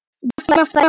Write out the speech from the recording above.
Rúna frænka.